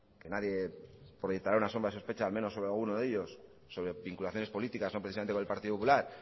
que nadie proyectará una sombra de sospecha al menos sobre alguno de ellos sobre vinculaciones políticas no precisamente con el partido popular